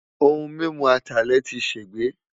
Ohun mimu Atalẹ ti ṣegbe